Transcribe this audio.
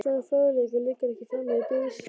Svona fróðleikur liggur ekki frammi í biðsölum.